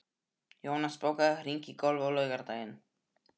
Jónas, bókaðu hring í golf á laugardaginn.